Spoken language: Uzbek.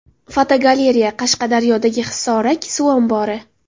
Fotogalereya: Qashqadaryodagi Hisorak suv ombori.